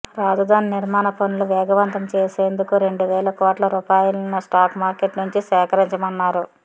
రాజధాని నిర్మాణ పనులు వేగవంతం చేసేందుకు రెండు వేల కోట్ల రూపాయలను స్టాక్ మార్కెట్ నుంచి సేకరించామన్నారు